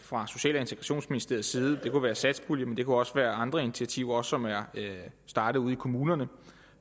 fra social og integrationsministeriets side det kunne være satspuljen men det kunne også være andre initiativer som er startet ude i kommunerne